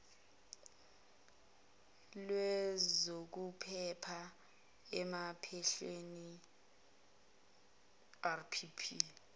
lwezokuphepha emaphandleni rpp